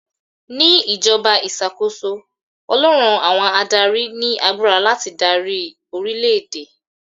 Ní ìjọba ìṣàkóso, Ọlọ́run àwọn adáári ni agbára láti darí orílè èdè.